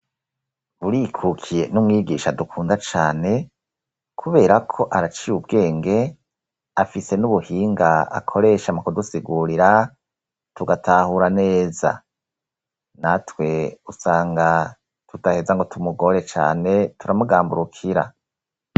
Burikukiye ni umwigisha dukunda cane kubera ko araciye ubwenge afise n'ubuhinga akoreshamo kudusigurira tugatahura neza natwe usanga tutaheza ngo tumugore cyane turamugamburukira.